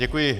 Děkuji.